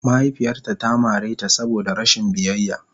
Mahaifiyarta ta mare ta saboda rashin biyayya.